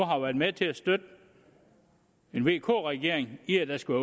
har været med til at støtte en vk regering i at der skulle